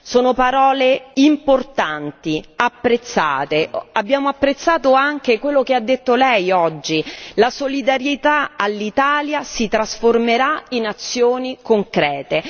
Sono parole importanti, apprezzate, abbiamo apprezzato anche quello che ha detto Lei oggi, la solidarietà all'Italia si trasformerà in azioni concrete.